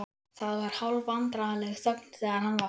Það var hálfvandræðaleg þögn þegar hann var farinn.